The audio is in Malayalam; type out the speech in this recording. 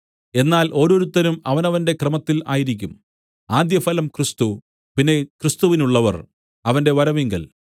എന്നാൽ ഓരോരുത്തരും അവനവന്റെ ക്രമത്തിൽ ആയിരിക്കും ആദ്യഫലം ക്രിസ്തു പിന്നെ ക്രിസ്തുവിനുള്ളവർ അവന്റെ വരവിങ്കൽ